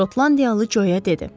Şotlandiyalı Joya dedi.